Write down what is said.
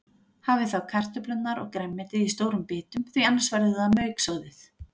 Hafið þá kartöflurnar og grænmetið í stórum bitum því annars verður það mauksoðið.